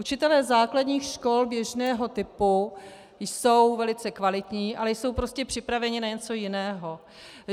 Učitelé základních škol běžného typu jsou velice kvalitní, ale jsou prostě připraveni na něco jiného.